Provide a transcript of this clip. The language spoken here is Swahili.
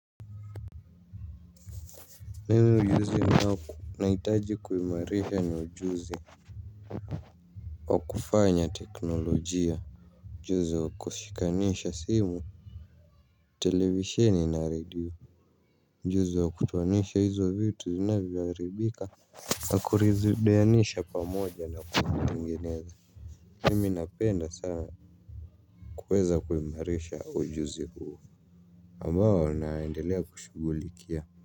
Mimi ujuzi na wako nahitaji kuimarisha ni ujuzi. Wa kufanya teknolojia. Ujuzi wa kushikanisha simu. Televisheni na radio. Ujuzi wa kutoanisha hizo vitu zinavyoharibika na kuzirudianisha pamoja na kutengeneza mimi napenda sana kuweza kuimarisha ujuzi huo ambao naendelea kushughulikia.